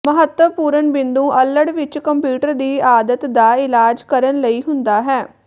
ਮਹੱਤਵਪੂਰਨ ਬਿੰਦੂ ਅੱਲੜ ਵਿਚ ਕੰਪਿਊਟਰ ਦੀ ਆਦਤ ਦਾ ਇਲਾਜ ਕਰਨ ਲਈ ਹੁੰਦਾ ਹੈ